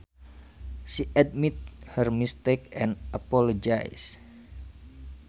She admitted her mistake and apologized